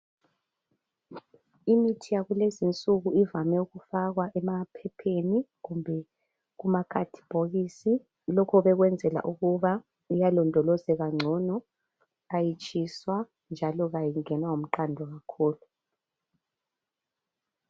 Imithi yakulezi insuku ivame ukufakwa emaphepheni kumbe kumakhadibokisi lokho bekwenzela ukuba iyalondolozeka ngcono kayitshiswa njalo kayingenwa ngumqando kakhulu.